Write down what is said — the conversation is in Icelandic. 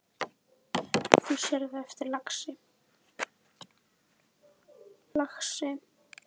Þú sérð það á eftir, lagsi.